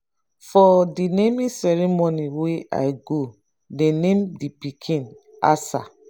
for the naming ceremony wey i go dey name the pikin asa